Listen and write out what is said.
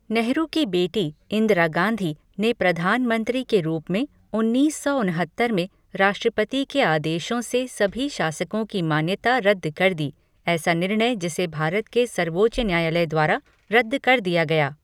नेहरू की बेटी, इंदिरा गांधी, ने प्रधान मंत्री के रूप में उन्नीस सौ उनहत्तर में राष्ट्रपति के आदेश से सभी शासकों की मान्यता रद्द कर दी, ऐसा निर्णय जिसे भारत के सर्वोच्च न्यायालय द्वारा रद्द कर दिया गया।